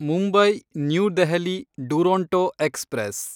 Mumbai New Delhi Duronto express